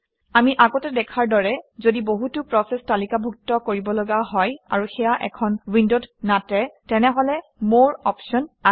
আমি আগতে দেখাৰ দৰে যদি বহুতো প্ৰচেচ তালিকাভুক্ত কৰিবলগা হয় আৰু সেয়া এখন উইণ্ডত নাটে তেনেহলে মৰে অপশ্যন আহে